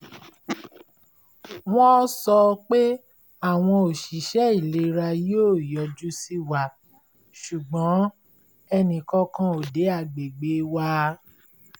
wọ́n sọ pé àwọn oṣiṣẹ́ ìlera yóò yọjú sí wa ṣùgbọ́n ẹnìkankan ò dé agbègbè wa